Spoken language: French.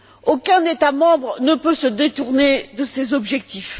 Aucun État membre ne peut se détourner de ces objectifs.